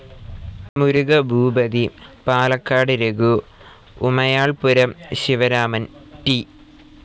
Murugabhoopathy, Palakkad Raghu, Umayalpuram Sivaraman, T.